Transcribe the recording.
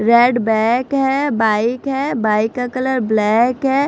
Red back है bike है bike का कलर ब्लैक है।